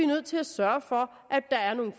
nødt til at sørge for at der er nogle